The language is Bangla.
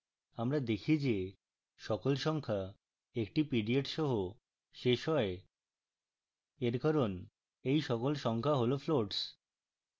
আমরা দেখি যে সকল সংখ্যা একটি period সহ শেষ হয় we কারণ we সকল সংখ্যা হল floats